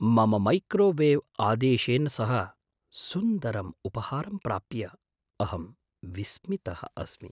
मम मैक्रोवेव् आदेशेन सह सुन्दरम् उपहारं प्राप्य अहं विस्मितः अस्मि।